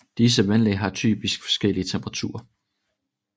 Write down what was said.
Disse vandlag har typisk forskellige temperaturer